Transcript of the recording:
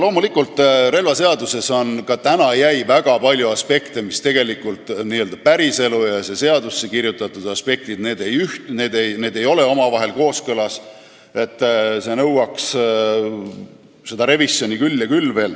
Loomulikult, relvaseadusesse jäi väga palju sellist, kus n-ö päriselu ja seadusesse kirjutatu ei ole omavahel kooskõlas, see nõuaks revisjoni küll ja veel.